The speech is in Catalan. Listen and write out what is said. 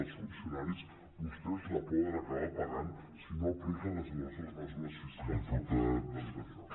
dels funcionaris vostès la poden acabar pagant si no apliquen les nostres mesu·res fiscals que s’estan plantejant